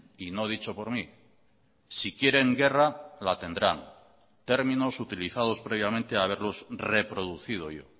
y no dicho por mí si quieren guerra la tendrán términos utilizados previamente a haberlos reproducido yo